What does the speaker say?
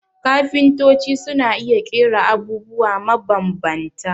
Kafintoci sun iya ƙera abubwa mabambanta